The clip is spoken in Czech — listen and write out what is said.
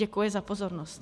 Děkuji za pozornost.